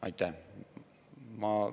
Aitäh!